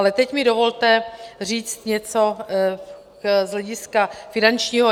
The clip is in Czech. Ale teď mi dovolte říct něco z hlediska finančního.